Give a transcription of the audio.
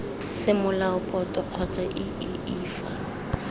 semolao boto kgotsa iii fa